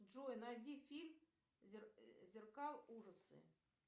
джой найди фильм зеркал ужасы